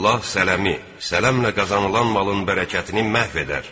Allah sələmi, sələmlə qazanılan malın bərəkətini məhv edər.